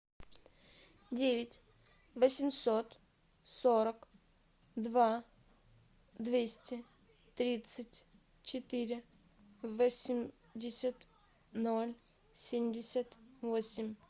девять восемьсот сорок два двести тридцать четыре восемьдесят ноль семьдесят восемь